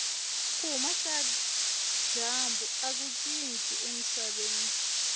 kuhhuma kajambu akutshintshi emisaveni